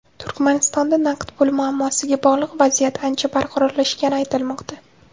Turkmanistonda naqd pul muammosiga bog‘liq vaziyat ancha barqarorlashgani aytilmoqda.